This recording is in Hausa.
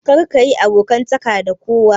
Karka yi abokantaka da kowa.